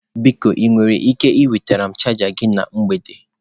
Biko ị nwere ike iweta chaja gị na mgbede?